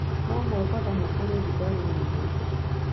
No Mombatha nĩ kũrĩ rugarĩ muno